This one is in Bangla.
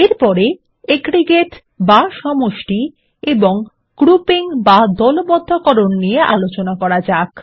এরপরে এগ্রিগেটসহ বা সমষ্টি এবং গ্রুপিং বা দলবদ্ধকরণ নিয়ে আলোচনা করা যাক